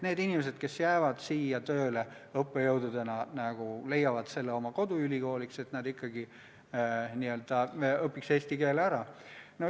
Need inimesed, kes jäävad siia õppejõududena tööle ja leiavad siinses ülikoolis oma koduülikooli, võiksid õppida eesti keele ära.